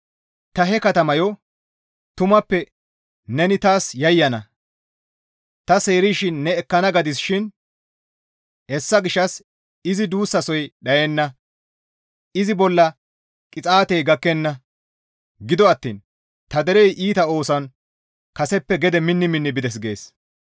Ta he katamayo, Tumappe neni taas yayyana; ta seerishin ne ekkana gadis shin; hessa gishshas izi duussasoy dhayenna; izi bolla qixaatey gakkenna. Gido attiin ta derey iita ooson, kaseppe gede minni minni bides» gees.